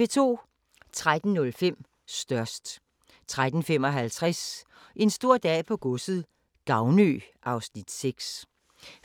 13:05: Størst 13:55: En stor dag på godset - Gavnø (Afs. 6)